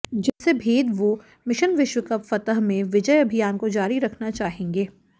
जिससे भेद वो मिशन विश्व कप फतह में विजय अभियान को जारी रखना चाहेंगे